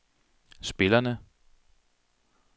spillerne